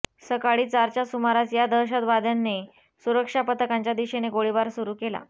सकाळी चारच्या सुमारास या दहशतवाद्यांने सुरक्षापथकांच्या दिशेने गोळीबार सुरु केला